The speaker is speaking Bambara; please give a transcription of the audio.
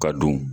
Ka dun